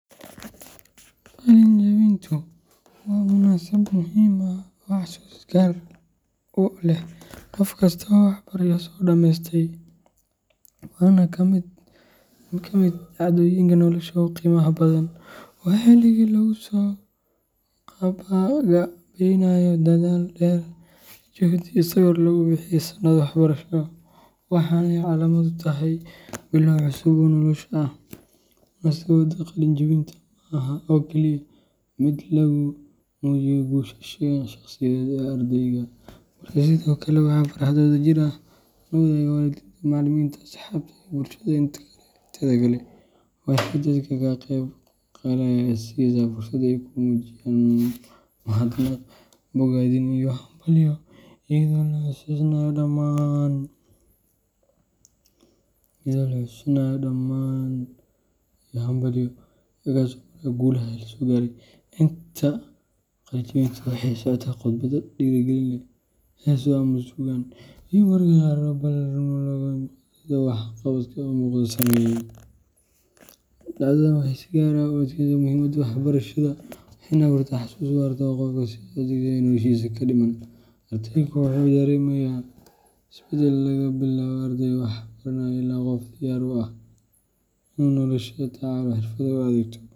Qalin jebintu waa munaasabad muhiim ah oo xusuus gaar ah u leh qof kasta oo waxbarasho soo dhameystay, waana mid ka mid ah dhacdooyinka nolosha ugu qiimaha badan. Waa xilligii lagu soo gabagabeynayo dadaal dheer, juhdi iyo sabir lagu bixiyey sannado waxbarasho, waxaana ay calaamad u tahay bilow cusub oo nolosha ah. Munaasabadda qalin jebintu ma aha oo keliya mid lagu muujiyo guusha shakhsiyeed ee ardayga, balse sidoo kale waa farxad wadajir ah oo ay la wadaagaan waalidiinta, macallimiinta, asxaabta, iyo bulshada inteeda kale. Waxay dadka ka qaybgalaya siisaa fursad ay ku muujiyaan mahadnaq, bogaadin iyo hambalyo, iyadoo la xasuusanayo dhammaan caqabadihii la soo maray iyo guulaha la gaaray. Inta badan, qalin-jebintu waxay la socotaa khudbado dhiirrigelin leh, heeso ama suugaan, iyo mararka qaar abaalmarinno loo qaybiyo ardayda wax qabadka muuqda sameeyey. Dhacdadan waxay si gaar ah u adkeysa muhiimadda waxbarashada, waxayna abuurtaa xusuus waarta oo qofka la socota inta noloshiisa ka dhiman. Ardaygu wuxuu dareemaa isbeddel laga bilaabo arday wax baranaya ilaa qof diyaar u ah inuu nolosha la tacaalo, xirfado u adeegto.